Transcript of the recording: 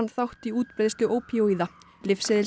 þátt í útbreiðslu ópíóíða